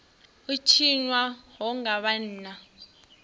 u tshinwa ho nga vhanna